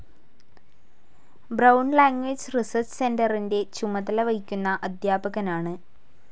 Brown language research സെന്ററിന്റെ ചുമതല വഹിക്കുന്ന അദ്ധ്യാപകനാണ്.